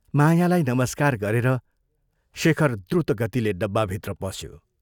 मायालाई नमस्कार गरेर शेखर द्रुतगतिले डब्बाभित्र पस्यो।